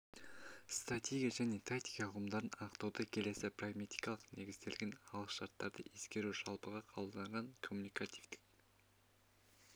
стратегия және тактика ұғымдарын анықтауда келесі прагматикалық негізделген алғышарттарды ескеру жалпыға қабылданған коммуникативтік